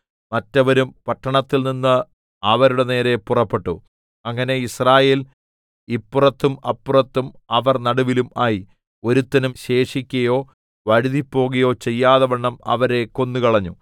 മറ്റവരും പട്ടണത്തിൽനിന്ന് അവരുടെ നേരെ പുറപ്പെട്ടു ഇങ്ങനെ യിസ്രായേൽ ഇപ്പുറത്തും അപ്പുറത്തും അവർ നടുവിലും ആയി ഒരുത്തനും ശേഷിക്കയോ വഴുതിപ്പോകയോ ചെയ്യാതവണ്ണം അവരെ കൊന്നുകളഞ്ഞു